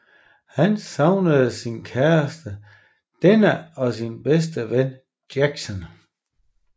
Han savnede sin kæreste Deanna og sin bedste ven Jason